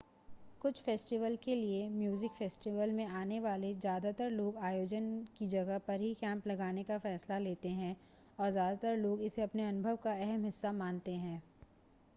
कुछ फ़ेस्टिवल के लिए म्यूज़िक फ़ेस्टिवल में आने वाले ज़्यादातर लोग आयोजन की जगह पर ही कैंप लगाने का फ़ैसला लेते हैं और ज़्यादातर लोग इसे अपने अनुभव का अहम हिस्सा मानते हैं